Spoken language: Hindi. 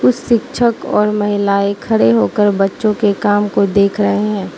कुछ शिक्षक और महिलाएं खड़े होकर बच्चों के काम को देख रहे हैं।